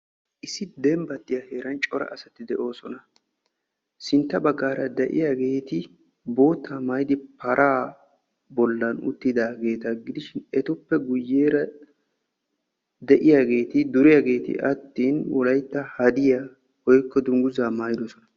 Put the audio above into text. issi dembatiya heeran corra assati de"oosona sintta bagara de"iyageti bootta maayidi para bollani uttidagetta gidishin ettuppe guuyerra de"iyagetti duriyaageeti attin wolaytta hadiyya woykko dunguzza maayidossona.